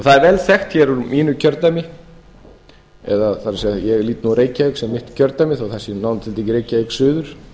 það er vel þekkt úr mínu kjördæmi það er ég lít nú á reykjavík sem mitt kjördæmi þó að það sé nánar tiltekið reykjavík suður